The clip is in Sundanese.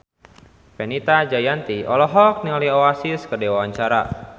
Fenita Jayanti olohok ningali Oasis keur diwawancara